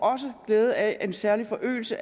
glæde af en særlig forøgelse